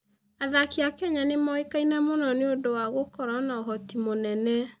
Athaki a Kenya nĩ moĩkaine mũno nĩ ũndũ wa gũkorũo na ũhoti mũnene.